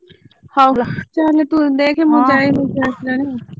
ହଉ ଯା ତୁ ଦେଖ ମୁଁ ଯାଏ ମୋ ପୁଅ ଉଠିଲାଣି।